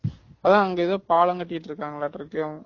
அதான் அங்க ஏதோ பாலம் கட்டிட்டு இருக்காங்கலாட்டு இருக்கு